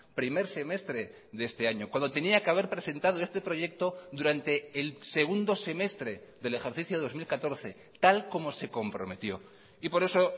primer semestre de este año cuando teníaque haber presentado este proyecto durante el segundo semestre del ejercicio dos mil catorce tal como se comprometió y por eso